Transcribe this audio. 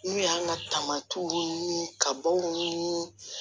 N'u y'an ka taamaw ni kabaw ni